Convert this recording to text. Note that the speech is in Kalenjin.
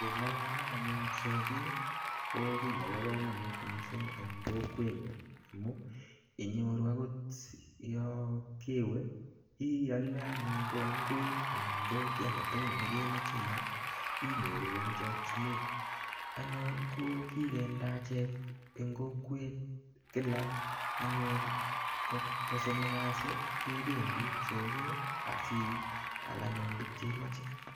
Keng'alalen anyun soket ko kiy nebo komonut mising en kokwenyun amun inyoru agot yon kewe iole anyun kogaingwek anan kiy age tugul nekemoche ial inyoru en chokinet ago anyun kigende achek en kokwet anyun kosomok kasi kebendi soket asial anyun tuguk che imoche.